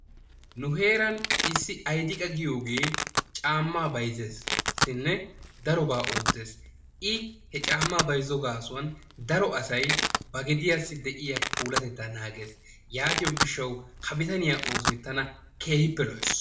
Nu heeran issi Aydiqqa giyogee caammaa bayzzeessinne daroba oottees hegaa gaasuwan daro asay ba gediyassi de'iya puulatettaa naagees yaattiyo gishshawu ha bitaniya oosoy tana keehippe lo'ees.